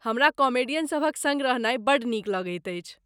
हमरा कॉमेडियन सभक सङ्ग रहनाइ बड्ड नीक लगैत अछि।